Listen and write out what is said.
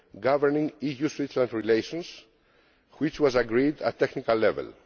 governing EU Switzerland relations, which was agreed at technical level.